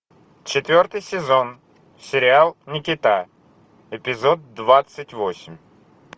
четвертый сезон сериал никита эпизод двадцать восемь